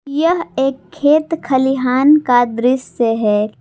यह एक खेत खलिहान का दृश्य है।